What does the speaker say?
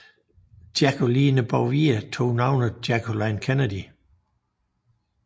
Jacqueline Bouvier tog navnet Jacqueline Kennedy